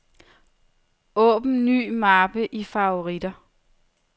Åbn ny mappe i favoritter.